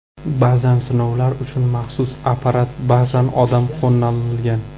Ba’zan sinovlar uchun maxsus apparat, ba’zan odam qo‘llanilgan.